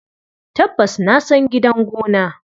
Tabbas na san gidan gona.